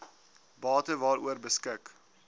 bate waaroor beskik